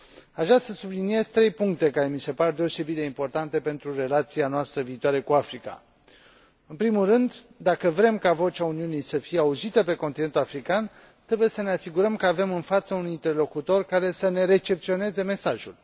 Aș vrea să subliniez trei puncte care mi se pare deosebit de importante pentru relația noastră viitoare cu Africa în primul rând, dacă vrem ca vocea Uniunii să fie auzită pe continentul african, trebuie să ne asigurăm că avem în față un interlocutor care să ne recepționeze mesajul.